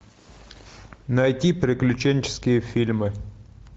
найти приключенческие фильмы